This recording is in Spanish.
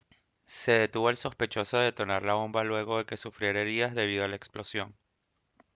se detuvo al sospechoso de detonar la bomba luego de que sufriera heridas debido a la explosión